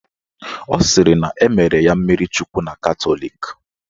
Ọ sịrị na emere ya mmirichukwu na Katọlik